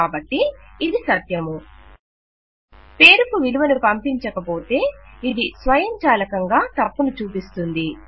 కాబట్టి ఇది సత్యము పేరుకు విలువను పంపించక పోతే ఇది స్వయంచాలకంగా తప్పును చూపిస్తుంది